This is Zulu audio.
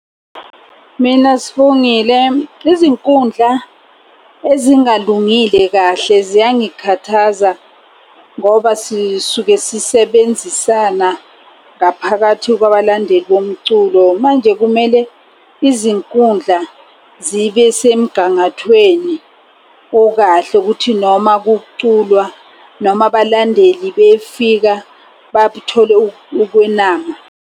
Mina Sibongile, izinkundla ezingalungile kahle ziyangikhathaza. Ngoba sisuke sisebenzisana ngaphakathi kwabalandeli bomculo. Manje kumele izinkundla zibe semgangathweni okahle kuthi noma kuculwa noma abalandeli befika babuthole ukwenama.